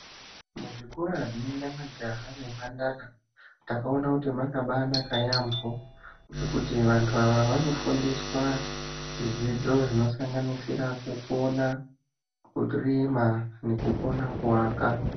Muzvikora zvinoenda majaha ne mhandara takaona kuti makaba naka yambo zvekuti vantu ava vanofundiswa zvidzidzo zvinosanganisira kukona kurima nekukona kuaka.